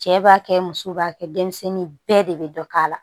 Cɛ b'a kɛ muso b'a kɛ denmisɛnnin bɛɛ de bɛ dɔ k'a la